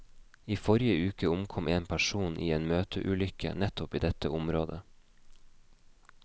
I forrige uke omkom en person i en møteulykke nettopp i dette området.